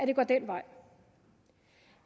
det går den vej